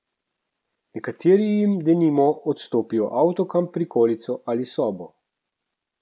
Nekateri jim denimo odstopijo avtokamp prikolico ali sobo.